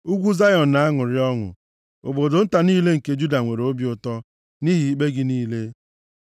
Ugwu Zayọn na-aṅụrị ọṅụ, obodo nta niile nke Juda nwere obi ụtọ nʼihi ikpe gị niile.